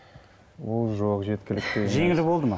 ол жоқ жеткіліксіз жеңіл болды ма